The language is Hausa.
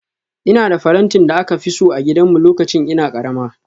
Ina da farantin da aka fi so a gidanmu lokacin ina karama